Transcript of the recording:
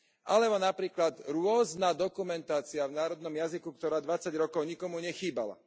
Alebo napríklad rôzna dokumentácia v národnom jazyku, ktorá dvadsať rokov nikomu nechýbala.